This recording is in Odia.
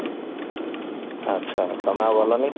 ଆଛା ତମେ ଆଉ ଗଲନି?